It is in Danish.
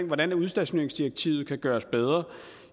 hvordan udstationeringsdirektivet kan gøres bedre